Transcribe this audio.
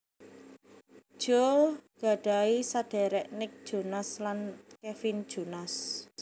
Joe gadhahi saderek Nick Jonas lan Kevin Jonas